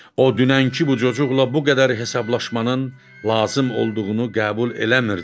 O dünənki bu cocuqla bu qədər hesablaşmanın lazım olduğunu qəbul eləmirdi.